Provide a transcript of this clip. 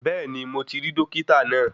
Bẹ́ẹ̀ni mo ti rí Dókítà náà